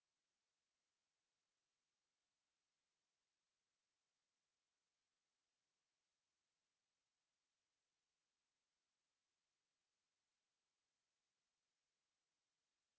আমরা এই কমান্ডগুিলেক একত্রিত করতে পারি